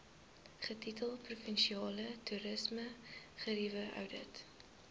getitel provinsiale toerismegerieweoudit